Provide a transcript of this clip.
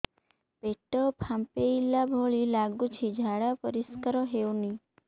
ପେଟ ଫମ୍ପେଇଲା ଭଳି ଲାଗୁଛି ଝାଡା ପରିସ୍କାର ହେଉନି